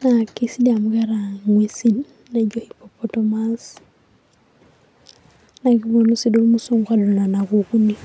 neeku kisidai amu keeta nguesin naijo hippopotamus, naa kepuonu sii duo irmusunku aadol nena kukinik.